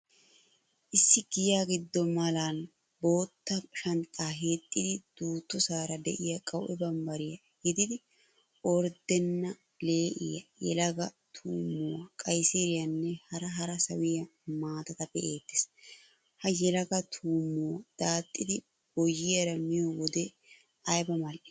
Issi giya giddo malan bootta shanxxaa hiixxidi duuttosaara de'iyaa qawue bambbariya gidid orddenne lee'iya, yelagaa tuummuwaa, qayssiriyanne hara hara sawiya maatata be'ettees. Ha yelaga tuummuwa daaxxidi boyyiyaara miyo wode ayba mal'ii.